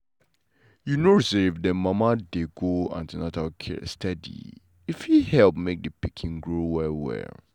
you know say if mama dem dey go an ten atal care steady e fit help make the pikin grow well well.